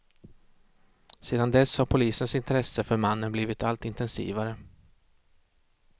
Sedan dess har polisens intresse för mannen blivit allt intensivare.